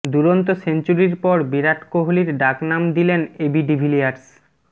দুরন্ত সেঞ্চুরির পর বিরাট কোহলির ডাকনাম দিলেন এবি ডিভিলিয়ার্স